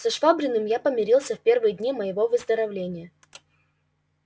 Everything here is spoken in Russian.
со швабриным я помирился в первые дни моего выздоровления